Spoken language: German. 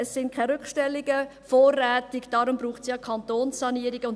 Es sind keine Rückstellungen vorrätig, deshalb braucht es ja Kantonssanierungen.